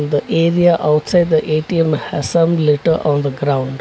The area outside the A_T_M has some litter on the ground.